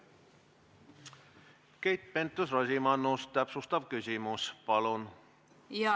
Keit Pentus-Rosimannus, täpsustav küsimus palun!